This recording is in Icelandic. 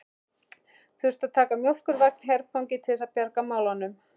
Þurftu að taka mjólkurvagn herfangi til þess að bjarga málunum!